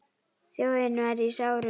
Þjóðin var í sárum.